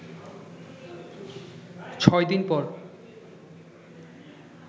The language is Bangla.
ছয় দিন পর